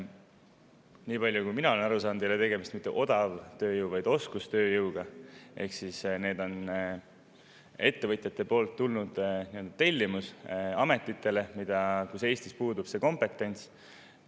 Niipalju kui mina olen aru saanud, ei ole tegemist mitte odavtööjõu, vaid oskustööjõuga, ehk siis ettevõtjatelt on tulnud tellimus, ametid, kus on Eestis kompetentsiga puudu.